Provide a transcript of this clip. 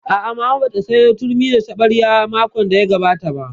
A'a, Mama ba ta sayo turmi da taɓarya makon da ya gabata ba